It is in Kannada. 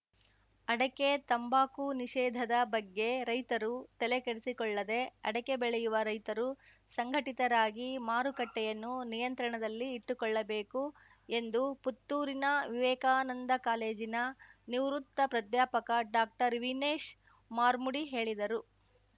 ಅಡಕೆ ತಂಬಾಕು ನಿಷೇಧದ ಬಗ್ಗೆ ರೈತರು ತಲೆಕೆಡಿಸಿಕೊಳ್ಳದೇ ಅಡಕೆ ಬೆಳೆಯುವ ರೈತರು ಸಂಘಟಿತರಾಗಿ ಮಾರುಕಟ್ಟೆಯನ್ನು ನಿಯಂತ್ರಣದಲ್ಲಿ ಇಟ್ಟುಕೊಳ್ಳಬೇಕು ಎಂದು ಪುತ್ತೂರಿನ ವಿವೇಕಾನಂದ ಕಾಲೇಜಿನ ನಿವೃತ್ತ ಪ್ರಾದ್ಯಾಪಕ ಡಾಕ್ಟರ್ವಿನೇಶ್‌ ಮಾರ್ಮುಡಿ ಹೇಳಿದರು